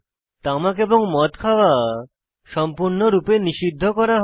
তামাক এবং মদ খাওয়া সম্পূর্ণরূপে নিষিদ্ধ করা হয়